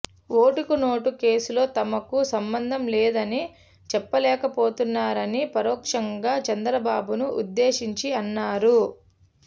ఓటుకు నోటు కేసులో తమకు సంబంధం లేదని చెప్పలేకపోతున్నారని పరోక్షంగా చంద్రబాబును ఉద్దేశించి అన్నారు